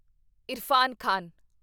Irfan Khan